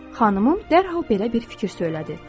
Xanımım dərhal belə bir fikir söylədi: